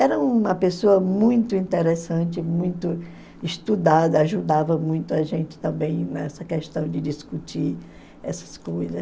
Era uma pessoa muito interessante, muito estudada, ajudava muito a gente também nessa questão de discutir essas coisas.